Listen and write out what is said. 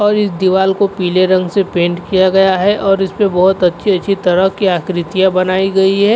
और इस दीवाल को पीले रंग से पेंट किया गया है और इस पे बोहत अच्छी अच्छी तरह की आकृतिया बनाई गई है।